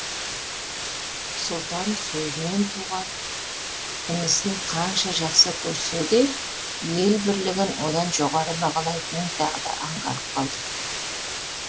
сұлтан сөзінен туған інісін қанша жақсы көрсе де ел бірлігін одан жоғары бағалайтынын тағы да аңғарып қалды